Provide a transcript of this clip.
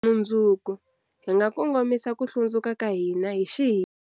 Mundzuku, hi nga kongomisa ku hlundzuka ka hina hi xihina.